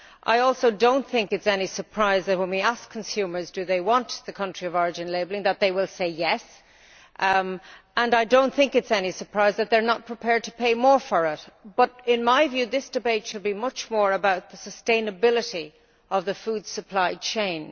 I also do not think it is any surprise that when we ask consumers if they want the country of origin labelling they will say yes, and I do not think it is any surprise that they are not prepared to pay more for it, but in my view this debate should be much more about the sustainability of the food supply chain.